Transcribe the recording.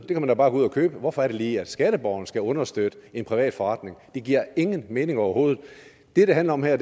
man da bare gå ud at købe hvorfor er det lige at skatteborgerne skal understøtte en privat forretning det giver ingen mening overhovedet det det handler om her